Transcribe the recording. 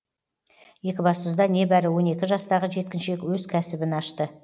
екібастұзда небәрі он екі жастағы жеткіншек өз кәсібін ашты